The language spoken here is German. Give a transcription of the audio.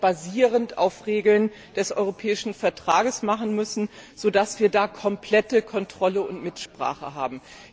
basierend auf den Regeln des Europäischen Vertrags machen müssen, damit wir komplette Kontrolle und Mitsprache haben.